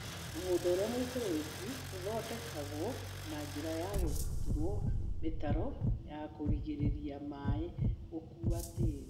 Mũgũnda ũría mũikĩrĩrĩku ũthondekagwo na njĩra ya gũturwo mĩtaro ya kũrigĩrĩrĩa maĩ gũkua tĩri.